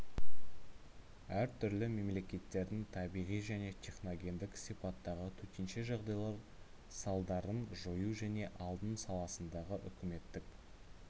әр түрлі мемлекеттердің табиғи және техногендік сипаттағы төтенше жағдайлар салдарын жою және алдын саласындағы үкіметтік